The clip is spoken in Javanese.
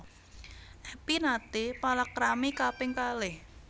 Epy naté palakrami kaping kalih